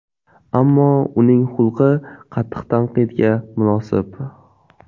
Ammo uning xulqi qattiq tanqidga munosib.